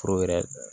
Foro yɛrɛ